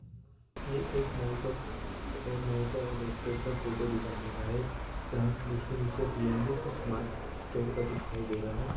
ये एक मॉल का और मॉल का और रेस्टोरेंट का फोटो दिखाई दे रहा है जहाँ जिसके नीचे रेयलमि और स्मार्ट स्टोर का भी दिखाई दे रहा है।